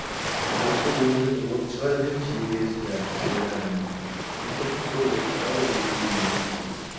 осы ойыннан от шығады деп шеге сірә ойлады ма екен ол отқа өзге емес екеуі